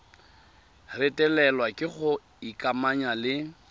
retelelwa ke go ikamanya le